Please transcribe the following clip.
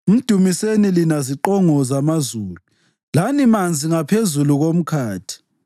Mdumiseni lina ziqongo zamazulu lani manzi ngaphezulu komkhathi.